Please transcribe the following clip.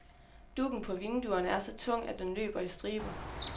Duggen på vinduerne er så tung, at den løber i striber.